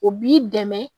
O b'i dɛmɛ